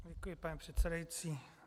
Děkuji, pane předsedající.